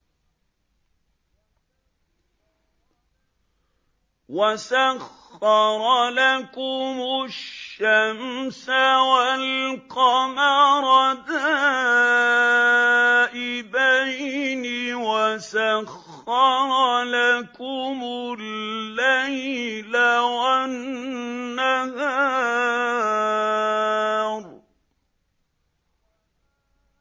وَسَخَّرَ لَكُمُ الشَّمْسَ وَالْقَمَرَ دَائِبَيْنِ ۖ وَسَخَّرَ لَكُمُ اللَّيْلَ وَالنَّهَارَ